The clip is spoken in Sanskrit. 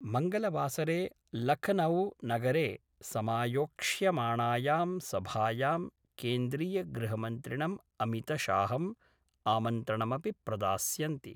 मंगलवासरे लखनऊ नगरे समायोक्ष्यमाणायां सभायां केन्द्रीयगृहमन्त्रिणं अमितशाहं आमन्त्रणमपि प्रदास्यन्ति।